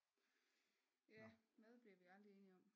Ja mad bliver vi aldrig enige om